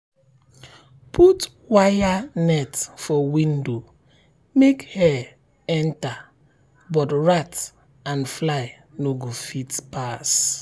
put wire net for window make air enter um but rat and fly no go fit um pass.